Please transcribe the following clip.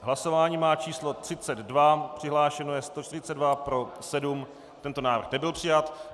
Hlasování má číslo 32, přihlášeno je 142, pro 7, tento návrh nebyl přijat.